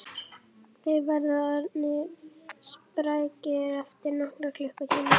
Þeir verða orðnir sprækir eftir nokkra klukkutíma